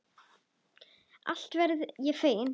Alltént verð ég feginn.